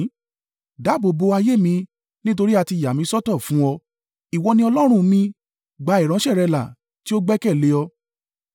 Dáàbò bò ayé mi, nítorí a ti yà mí sọ́tọ̀ fún ọ: ìwọ ni Ọlọ́run mi, gbà ìránṣẹ́ rẹ là tí ó gbẹ́kẹ̀lé ọ.